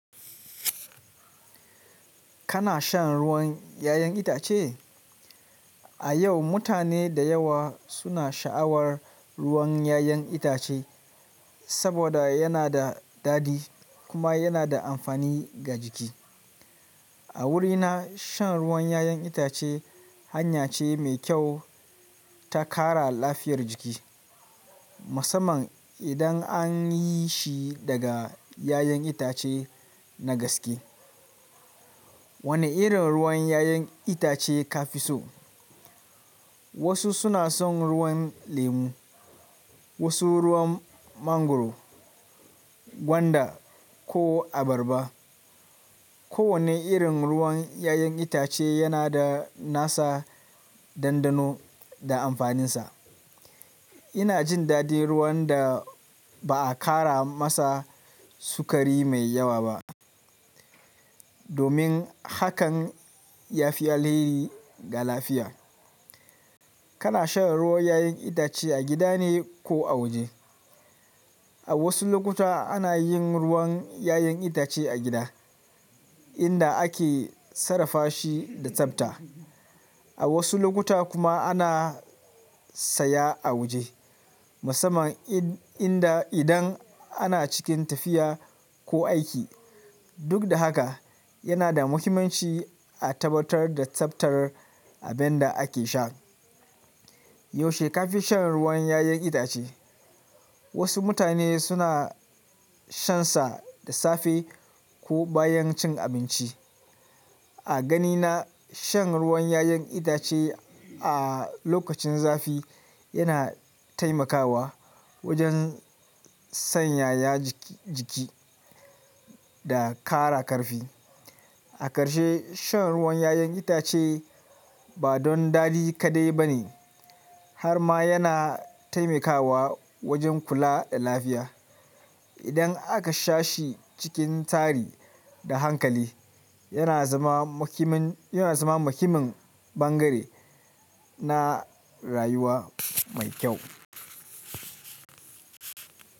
Kana shan ruwan 'ya'yan itace? A yau, mutane da yawa suna sha'awar ruwan 'ya'yan itace saboda yana da dadi kuma yana da amfani ga jiki. A wurina, shan ruwan 'ya'yan itace hanya ce mai kyau ta ƙara lafiyar jiki, musamman idan an yi shi daga 'ya'yan itace na gaske. Wane irin ruwan 'ya'yan itace ka fi so? Wasu suna son ruwan lemu, wasu ruwan mangwaro, gwanda, ko abarba. Kowane irin ruwan 'ya'yan itace yana da nasa dandano da amfaninsa. Ina jin dadi ruwan da ba a ƙara masa sukari mai yawa ba, domin hakan ya fi alheri ga lafiya. Kana shan ruwan 'ya'yan itace a gida ne ko a waje? A wasu lokuta ana yin ruwan 'ya'yan itace a gida, inda ake sarrafa shi da tsafta. A wasu lokuta kuma ana saya a waje, musamman idan ana cikin tafiya ko aiki. Duk da haka, yana da muhimmanci a tabbatar da tsaftar abin da ake sha. Yaushe ka fi shan ruwan 'ya'yan itace? Wasu mutane suna shansa da safe ko bayan cin abinci. A ganina, shan ruwan 'ya'yan itace a lokacin zafi yana taimakawa wajen sanyaya jiki da ƙara ƙarfi. A karshe, shan ruwan 'ya'yan itace ba don dadi kaɗai ba ne, har ma yana taimakawa wajen kula da lafiya. Idan aka sha shi cikin tsari da hankali, yana zama muhimmin bangare na rayuwa mai kyau.